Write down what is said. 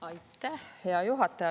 Aitäh, hea juhataja!